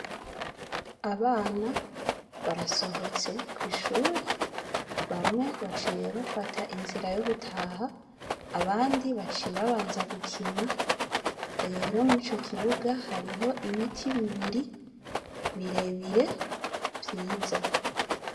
Abana barasohotse kw’ishure, bamwe baciye bafata inzira yo gutaha abandi baciye babanza gukina, rero murico kibuga hariho ibiti bibiri birebire vyiza.